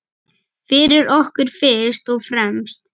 Fyrir okkur fyrst og fremst.